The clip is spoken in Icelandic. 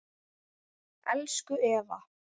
Elsku Eva